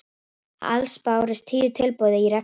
Alls bárust tíu tilboð í reksturinn